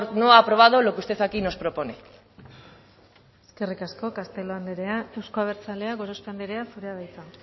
no ha aprobado lo que usted aquí nos propone eskerrik asko castelo andrea euzko abertzaleak gorospe andrea zurea da hitza